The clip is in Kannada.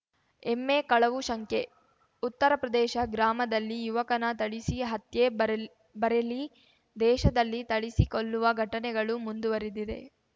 ಎಮ್ಮೆ ಕಳವು ಶಂಕೆಉತ್ತರಪ್ರದೇಶ ಗ್ರಾಮದಲ್ಲಿ ಯುವಕನ ಥಳಿಸಿ ಹತ್ಯೆ ಬರ್ ಬರೇಲಿ ದೇಶದಲ್ಲಿ ಥಳಿಸಿ ಕೊಲ್ಲುವ ಘಟನೆಗಳು ಮುಂದುವರಿದಿದೆ